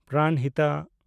ᱯᱨᱟᱱᱦᱤᱛᱟ